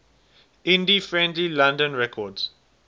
indie friendly london records